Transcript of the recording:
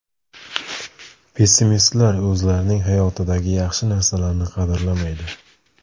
Pessimistlar o‘zlarining hayotidagi yaxshi narsalarni qadrlamaydi.